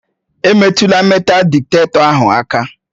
Emetụla meetal dịtektọ ahụ aka!